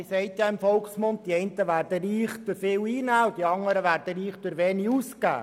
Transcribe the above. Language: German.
Man sagt im Volksmund, die einen würden reich durch viele Einnahmen, und die anderen würden reich durch wenige Ausgaben.